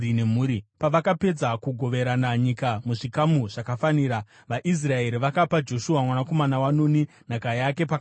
Pavakapedza kugoverana nyika muzvikamu zvakafanira, vaIsraeri vakapa Joshua mwanakomana waNuni nhaka yake pakati pavo,